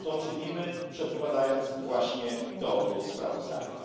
To czynimy, przedkładając właśnie to sprawozdanie.